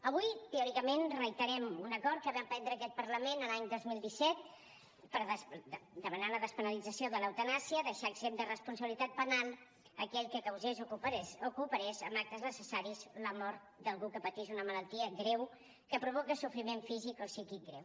avui teòricament reiterem un acord que va prendre aquest parlament l’any dos mil disset per demanar la despenalització de l’eutanàsia deixar exempt de responsabilitat penal aquell que causés o cooperés amb actes necessaris a la mort d’algú que patís una malaltia greu que provoca sofriment físic o psíquic greu